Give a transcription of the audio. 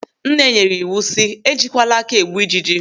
Nne nyere ịwụ si, "E jikwala aka egbu ijiji".